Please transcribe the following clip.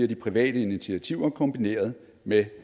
de private initiativer kombineret med